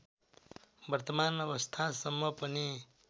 वर्तमान अवस्थासम्म पनि